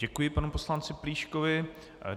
Děkuji panu poslanci Plíškovi.